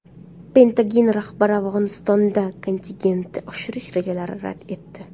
Pentagon rahbari Afg‘onistonda kontingentni oshirish rejalarini rad etdi.